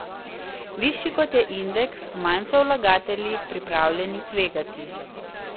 Višji kot je indeks, manj so vlagatelji pripravljeni tvegati.